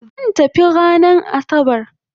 Zan tafi ranan asabar